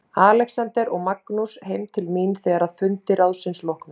Alexander og Magnús heim til mín þegar að fundi ráðsins loknum.